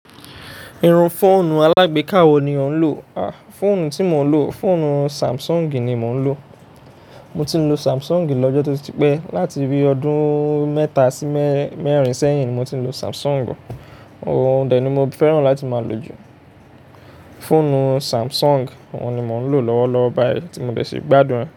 Irun fóònù alágbéka wo ni ò ń lò? Ah, fóònù tí mo ń lò, fóònù Samsung ni mo ń lò. Mo ti ń lo Samsung lọ́jọ́ tó ti pẹ́. Láti bí i ọdún mẹ́ta sí mẹ́rin sẹ́yìn mo ti ń lo Samsung. Òun dè ni mo fẹ́ràn láti máa lò jù, fóònù Samsung. Òun ni mò ń lò lọ́wọ́lọ́wọ́ báyìí tí mo dẹ ṣe gbádùn rẹ̀